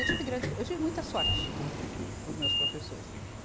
Eu tive grandes pro, eu tive muita sorte com os meus professores. e